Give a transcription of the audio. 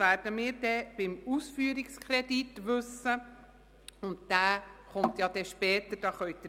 Wir werden in diesem Wettbewerb prüfen, wie es sich finanziell auswirken würde, wenn man den höheren Flächenbedarf auch noch berücksichtigt.